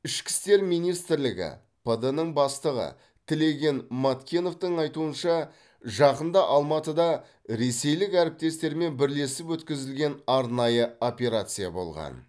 ішкі істер министрлігі пд нің бастығы тілеген маткеновтің айтуынша жақында алматыда ресейлік әріптестерімен бірлесіп өткізілген арнайы операция болған